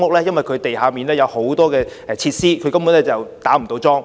因為該處地下有很多設施，根本不能打樁。